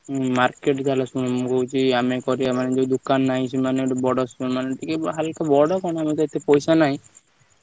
ହୁଁ market ତାହେଲେ ଶୁଣ ମୁଁ କହୁଛି ଆମେ କରିବା ପାଇଁ ଦୋକାନ ନାହିଁ ସେମାନେ ଏତେ ପଇସା ନାହିଁ।